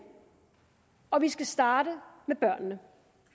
og vi skal starte med børnene